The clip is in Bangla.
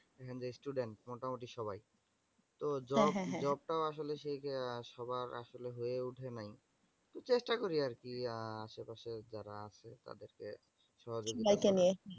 দেখেন যে student মোটামোটি সবাই। তো job job টাও আসলে সবার আসলে হয়ে উঠে নাই তো চেষ্টা করি আর কি? আহ আসে পাশে যারা আছে তাদেরকে সহযোগিতা